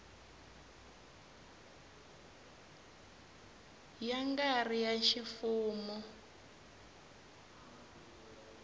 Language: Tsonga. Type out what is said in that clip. ya nga ri ya ximfumo